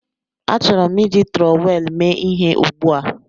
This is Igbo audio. Achọrọ m iji trọwel mee ihe ugbu a